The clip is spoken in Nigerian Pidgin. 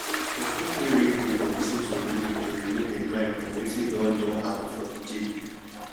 person fit read book or lis ten to music to remove im mind from wetin don don happen for di day